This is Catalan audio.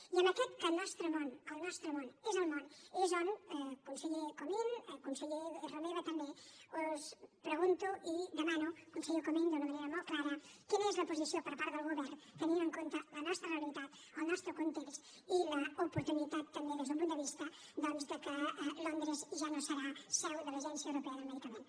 i amb aquest que el nostre món el nostre món és el món és on conseller comín i conseller romeva també us pregunto i demano conseller comín d’una manera molt clara quina és la posició per part del govern tenint en compte la nostra realitat el nostre context i l’oportunitat també des d’un punt de vista doncs que londres ja no serà seu de l’agència europea del medicament